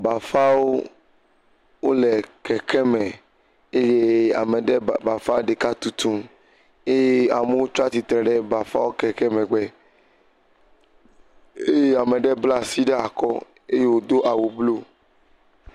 Bafawo, wole kekeme eye ame ɖe bafa ɖeka tutum eye amewo tsa tsitre ɖe bafa wo keke megbe eye ame ɖe bla asi ɖe akɔ eye wòdo awu bluu.